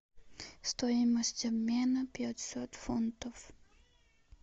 стоимость обмена пятьсот фунтов